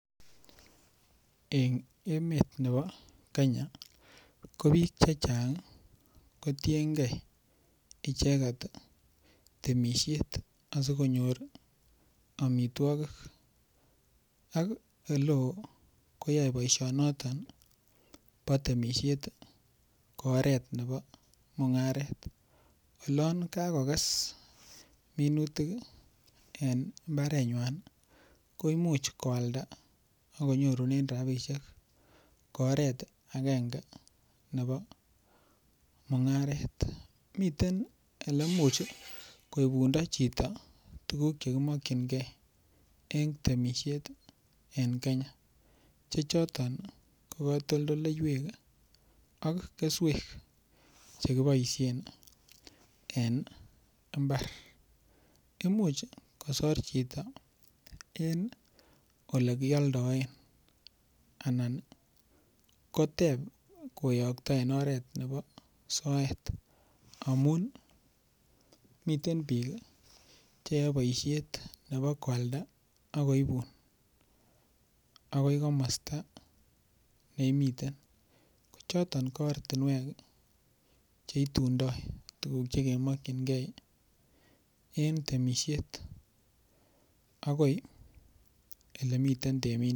En emet nebo Kenya ko biik che chang kotienge icheget temisiet asikonyor amitwogik ak ole oo koyae boisionoto bo temisiet ko oret nebo mung'aret. Olon kagokes minutik en mbarenywan koimuch koalda ak konyorunen rabishek ko oret agenge nebo mung'aret. Miten ole imuch koibundo chito tuguk che kimokinge en temisiet en Kenya, che choto ko katoltoleiywek ak keswek che kiboisien en imbar. IMuch kosor chito en ole kioldoen anan koteb koyokto en oret nebo soet amun miten biik che yoe boisiet chebo koalda ak koibun agoi komosta neimeiten. Ko choton ko ortinwek che itundo tuguk che kemokinge en temisiet agoi ele miten temindet.